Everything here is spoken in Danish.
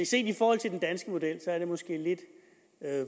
set i forhold til den danske model måske er lidt